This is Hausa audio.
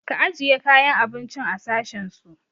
Ka ajiye kayan abincin a sashen su!